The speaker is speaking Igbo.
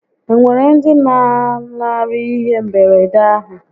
E nwere ndi lanarịrị ihé mberede ahụ?